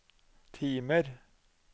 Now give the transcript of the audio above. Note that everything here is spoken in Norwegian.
timer